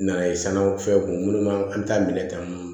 Nana ye sanu fɛn kun ma an t'a minɛ tan